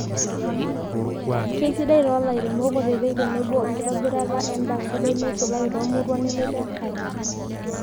keisidai too lairemok kutitik tenebo enkitobirata edaa sidai neisulaki too muruan nemetii enkare.